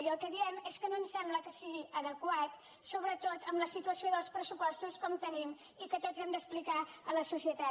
i el que diem és que no ens sembla que sigui adequat sobretot amb la situació dels pressupostos com tenim i que tots hem d’explicar a la societat